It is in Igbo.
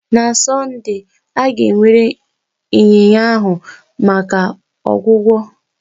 Na Sọnde, a ga-ewere ịnyịnya ahụ maka ọgwụgwọ.